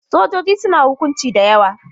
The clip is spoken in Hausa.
Sojoji suna hukunci da yawa.